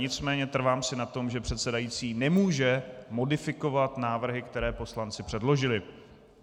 Nicméně trvám si na tom, že předsedající nemůže modifikovat návrhy, které poslanci předložili.